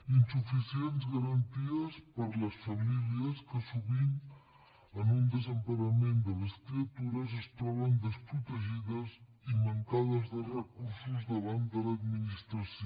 insuficients garanties per a les famílies que sovint en un desemparament de les criatures es troben desprotegides i mancades de recursos davant de l’administració